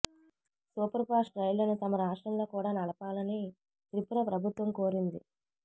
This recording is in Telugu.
సూపర్ ఫాస్ట్ రైళ్లను తమ రాష్ట్రంలో కూడా నడపాలని త్రిపుర ప్రభుత్వం కోరింది